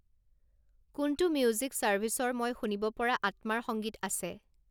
কোনটো মিউজিক ছাৰ্ভিচৰ মই শুনিব পৰা আত্মাৰ সংগীত আছে